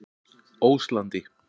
Óslandi